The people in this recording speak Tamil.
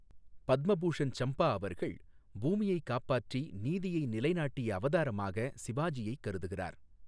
பத்ம பூஷன் சம்பா அவர்கள், பூமியைக் காப்பாற்றி நீதியை நிலைநாட்டிய அவதாரமாக சிவாஜியைக் கருதுகிறார்.